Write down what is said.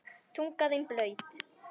Tunga þín blaut.